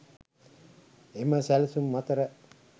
එම සැලසුම් අතර